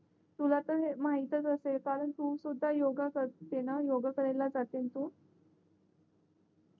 तुला तर म्हाहीतच असेल कारण तू सुद्धा योग करते ना योग करायला जाते तू